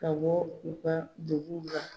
Ka bɔ u ka duguw la.